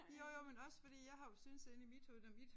Jo jo men også fordi jeg har jo syntes inde i mit hoved når mit